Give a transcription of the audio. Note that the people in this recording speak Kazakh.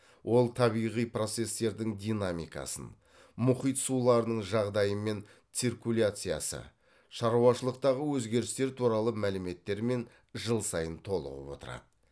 ол табиғи процестердің динамикасы мұхит суларының жағдайы мен циркуляциясы шаруашылықтағы өзгерістер туралы мәліметтермен жыл сайын толығып отырады